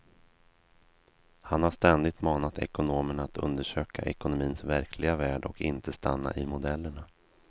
Han har ständigt manat ekonomerna att undersöka ekonomins verkliga värld och inte stanna i modellerna.